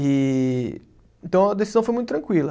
E então a decisão foi muito tranquila.